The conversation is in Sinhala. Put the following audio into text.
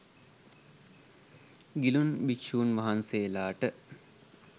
ගිලන් භික්ෂූන් වහන්සේලාට